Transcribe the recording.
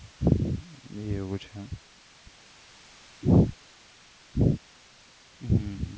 એવું છે હમ હમ